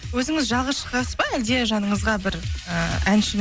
өзіңіз жалғыз шығасыз ба әлде жаныңызға бір і әншіні